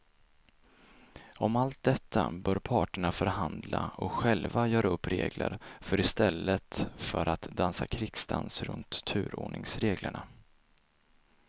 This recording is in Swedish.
Om allt detta bör parterna förhandla och själva göra upp regler för i stället för att dansa krigsdans runt turordningsreglerna.